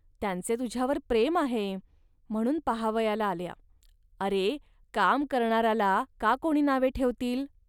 त्यांचे तुझ्यावर प्रेम आहे, म्हणून पाहावयाला आल्या. अरे, काम करणाराला का कोणी नावे ठेवतील